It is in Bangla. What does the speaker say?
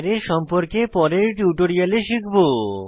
আরায় সম্পর্কে পরের টিউটোরিয়ালে শিখব